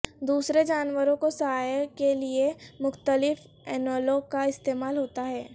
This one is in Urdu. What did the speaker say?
دوسرے جانوروں کو سایہ کے لئے مختلف انوولوں کا استعمال ہوتا ہے